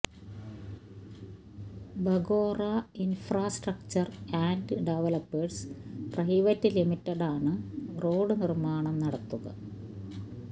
Bagora infrastructure and developers private ലിമിറ്റഡാണ് road നിര്മാണം നടത്തുക